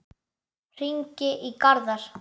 Hringi í Garðar.